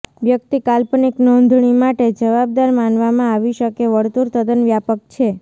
વ્યક્તિ કાલ્પનિક નોંધણી માટે જવાબદાર માનવામાં આવી શકે વર્તુળ તદ્દન વ્યાપક છે